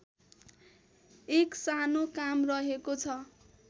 एक सानो काम रहेको छ